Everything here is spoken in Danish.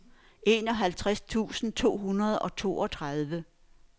enoghalvfems tusind to hundrede og toogtredive